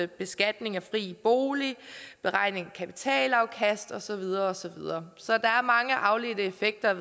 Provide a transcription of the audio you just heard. beskatning af fri bolig beregning af kapitalafkast og så videre og så videre så der er mange afledt effekter